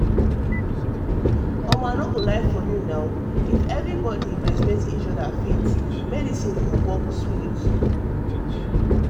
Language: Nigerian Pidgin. i no go um lie um if everybody respect each other faith and medicine go work together smooth.